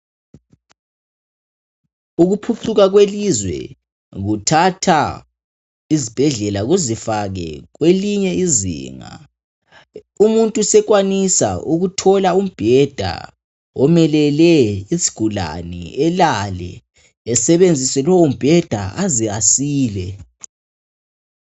Ukuphucuka kwelizwe kuthatha izibhedlela kuzifake kwelinye izinga. Umuntu sekwanisa ukuthola umbheda omelele isigulane alale esebenzi lowu mbheda aze asile.